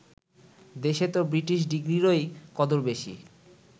দেশে তো ব্রিটিশ ডিগ্রিরই কদর বেশি